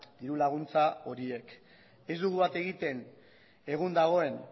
dirulaguntza horiek ez dugu bat egiten egun dagoen